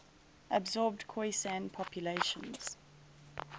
absorbed khoisan populations